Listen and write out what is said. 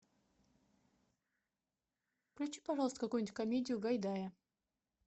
включи пожалуйста какую нибудь комедию гайдая